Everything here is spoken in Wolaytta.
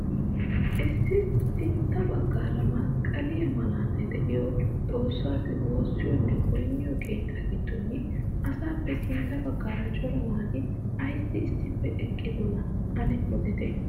Issi sintta baggaara masqqaliyaa malatay de'iyoo xoossaa wossiyoonne goynniyoo keettaa giddon asappe sintta baggaara cora naati ayssi issippe eqqidonaa ane odite?